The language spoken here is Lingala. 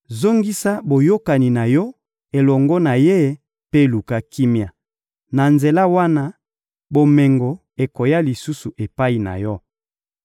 Zongisa boyokani na yo elongo na Ye mpe luka kimia. Na nzela wana, bomengo ekoya lisusu epai na yo.